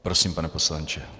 Prosím, pane poslanče.